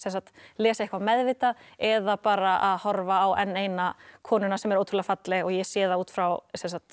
lesa eitthvað meðvitað eða bara að horfa á enn eina konuna sem er ótrúlega falleg og ég sé það út frá